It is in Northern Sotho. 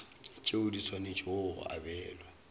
tšeo di swanetšego go abelwa